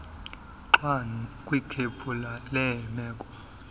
gxwa kwikhephu leemeko